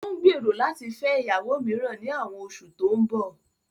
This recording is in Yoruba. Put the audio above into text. Ó ń gbèrò láti fẹ́ ìyàwó mìíràn ní àwọn oṣù tó ń bọ̀